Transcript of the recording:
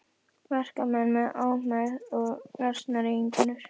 Verkamenn með ómegð og lasnar eiginkonur.